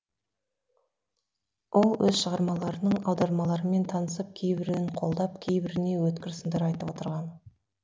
ол өз шығармаларының аудармаларымен танысып кейбірін қолдап кейбіріне өткір сындар айтып отырған